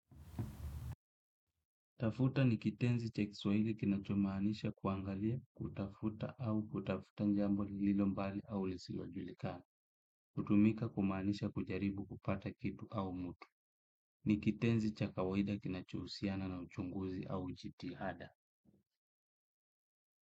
Tafuta ni kitenzi cha kiswahili kinachomaanisha kuangalia, kutafuta au kutafuta jambo lilo mbali au lisilo julikana hutumika kumaanisha kujaribu kupata kitu au mtu. Ni kitenzi cha kawaida kinachohusiana na uchunguzi au jitihada.